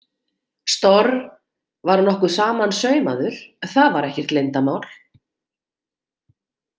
Storr var nokkuð samansaumaður, það var ekkert leyndarmál.